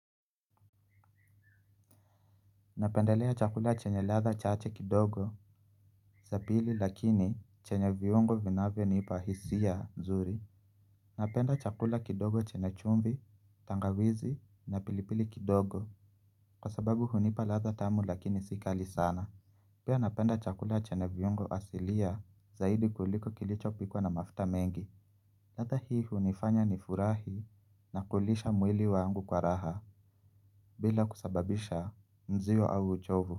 Napendelea chakula chenye latha chaache kidogo. Za pili lakini chenye viungo vinavyo nipa hisia nzuri. Napenda chakula kidogo chenye chumbi, tangawizi na pilipili kidogo. Kwa sababu hunipa latha tamu lakini si kali sana. Pia napenda chakula chenye viungo asilia zaidi kuliko kilicho pikuwa na mafta mengi. Latha hii hunifanya ni furahi na kulisha mwili wangu kwa raha. Bila kusababisha mzio au uchovu.